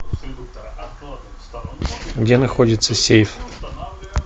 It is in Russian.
где находится сейф